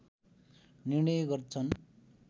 निर्णय गर्छन्